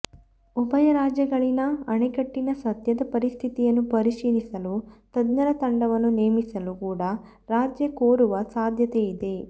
ಉಭಯ ರಾಜ್ಯಗಳಲ್ಲಿನ ಅಣೆಕಟ್ಟಿನ ಸದ್ಯದ ಪರಿಸ್ಥಿತಿಯನ್ನು ಪರಿಶೀಲಿಸಲು ತಜ್ಞರ ತಂಡವನ್ನು ನೇಮಿಸಲು ಕೂಡಾ ರಾಜ್ಯ ಕೋರುವ ಸಾಧ್ಯತೆಯಿದೆ